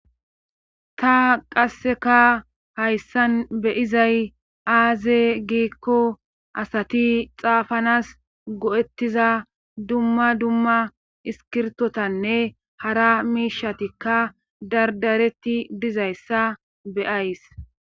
ta qasseka hayssan beyizay aaze giikko asati xaafanas go7ettiza dumma dumma iskirtotanne hara miishatikka dardaretti dizayssa beyays